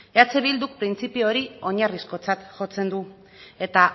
eh bilduk printzipio hori oinarrizkotzat jotzen du eta